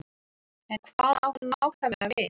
En hvað á hann nákvæmlega við?